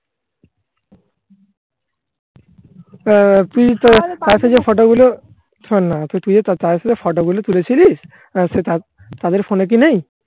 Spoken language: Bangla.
তুই তোর পাশে যে photo গুলো তাদের সাথে photo গুলো তুলেছিলিস থাক তাদের phone এ কি নেই